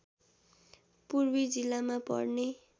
पूर्वी जिल्लामा पर्ने